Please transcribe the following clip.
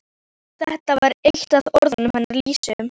Þetta var eitt af orðunum hennar Lísu.